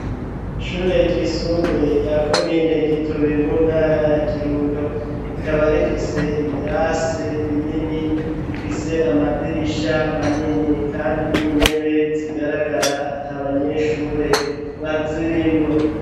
Ishure ryisumbuye rya komine gitobe mu ntara ya kirundo rikaba rifise ibirasi binini bifise amadirisha manini kandi n'intebe zigaragara at'abanyeshure bazirimwo.